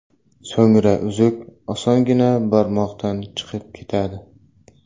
So‘ngra uzuk osongina barmoqdan chiqib ketadi.